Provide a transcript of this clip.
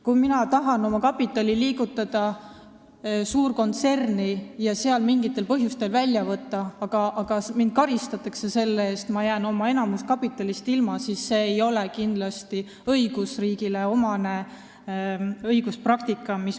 Kui ma tahan panna oma kapitali suurkontserni ja siis sealt mingitel põhjustel välja võtta, aga mind karistatakse selle eest ja ma jään enamikust oma kapitalist ilma, siis see ei ole kindlasti õigusriigile omane õiguspraktika.